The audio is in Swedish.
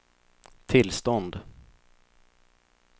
tillstånd